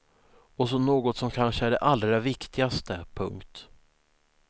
Och så något som kanske är det allra viktigaste. punkt